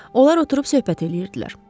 Onlar oturub söhbət eləyirdilər.